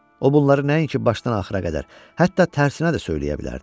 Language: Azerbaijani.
O bunları nəinki başdan axıra qədər, hətta tərsinə də söyləyə bilərdi.